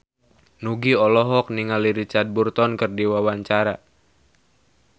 Nugie olohok ningali Richard Burton keur diwawancara